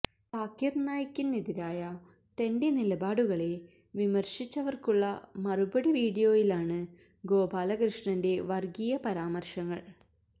സാകിര് നായിക്കിനെതിരായ തന്റെ നിലപാടുകളെ വിമര്ശിച്ചവര്ക്കുള്ള മറുപടി വീഡിയോയിലാണ് ഗോപാലകൃഷ്ണന്റെ വര്ഗീയ പരാമര്ശങ്ങള്